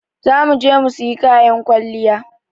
Za mu je mu sayi kayan kwalliya.